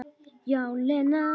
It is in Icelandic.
Já, Lena.